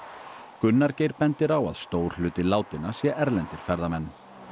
Gunnar Geir bendir á að stór hluti látinna sé erlendir ferðamenn